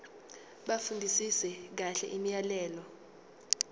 bafundisise kahle imiyalelo